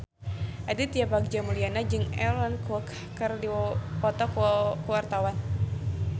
Aditya Bagja Mulyana jeung Aaron Kwok keur dipoto ku wartawan